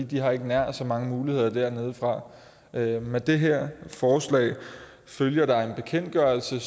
de har ikke nær så mange muligheder dernedefra med med det her forslag følger der en bekendtgørelse